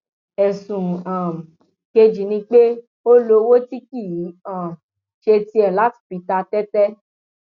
ẹsùn um kejì ni pé ó lo owó tí kì í um ṣe tiẹ láti fi ta tẹtẹ